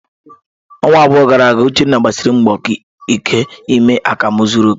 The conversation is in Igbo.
Ọnwa abụọ gara aga, Uchenna gbasiri mbọ ike ime akamu zuru oke.